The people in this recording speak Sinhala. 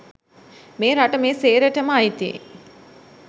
මේ රට මේ සේරටම අයිති